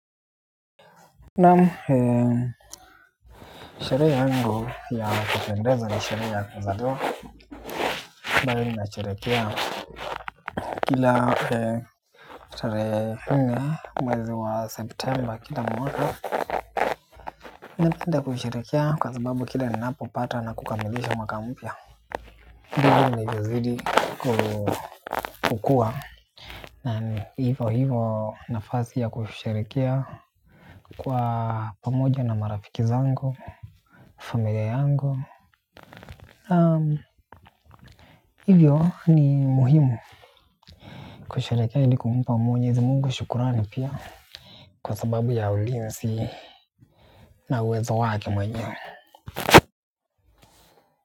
Naam sherehe yangu ya kupendezwa ni sherehe ya kuzaliwa. Mbari nimesherekea kila mwezi wa septemba kila mwaka napenda kusheherekea kwa sababu kila ninapopata na kukamilisha mwaka mpya ndivyo navyozidi kukua na hivyo hivyo nafasi ya kusheherekea kwa pamoja na marafiki zangu familia yangu na hivyo ni muhimu kusherekea ili kumpa mwenyezi mungu shukrani pia kwa sababu ya ulinzi na uwezo wake mwenyewe.